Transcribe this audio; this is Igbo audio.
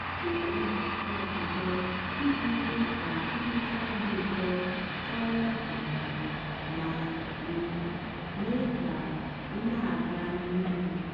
tọọ ndepụta ọkpụkpọ iji mee ka nhicha dị ụtọ karịa um ma um mee ka ị na-aga n'ihu.